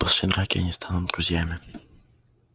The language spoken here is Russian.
после драки они станут друзьями